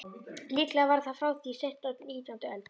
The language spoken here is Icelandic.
Líklega var það frá því seint á nítjándu öld.